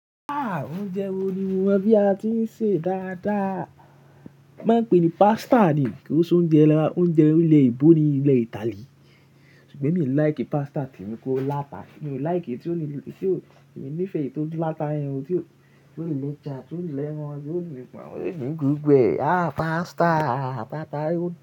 Ah! Oúnjẹ wo ni mo mọ bí a ti ń sè dáadáa. Máa ń pè é ní pasta ni kí ó so oúnjẹ, oúnjẹ ilẹ̀ ìbò ni ilẹ̀ Italy. Ṣùgbọ́n mi ò like pasta tì mí kó láta. Mi ò like tí ó ní, tí ó, mi ò nífẹ̀ẹ́ èyí tí ó dúró láta irun, tí ó, tí ó le jà, tí ó le ràn, tí ó le gùn, gbẹ. Ah! Pasta, pasta.